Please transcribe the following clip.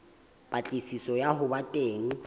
patlisiso ya ho ba teng